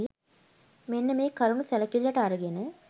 මෙන්න මේ කරුණු සැලකිල්ලට අරගෙන